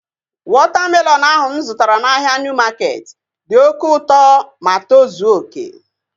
Wọta melọnu ahu mụ zụtara n'ahia Niu maketi dị oké ma tozuo oké